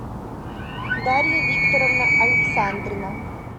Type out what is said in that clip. дарья викторовна александрина